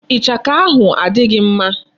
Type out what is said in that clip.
Ichaka ahụ adịghị mma.